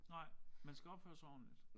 Nej man skal opføre sig ordentligt